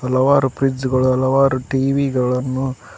ಹಲವಾರು ಫ್ರಿಡ್ಜ್ ಗಳನ್ನು ಹಲವರು ಟಿವಿಗಳನ್ನು--